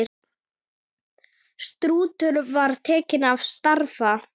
Stútur var tekið til starfa!